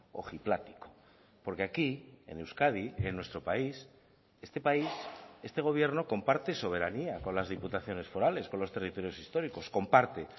ojiplático porque aquí en euskadi en nuestro país este país este gobierno comparte soberanía con las diputaciones forales con los territorios históricos comparte